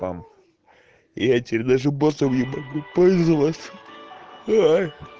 я даже готов въебать пользоваться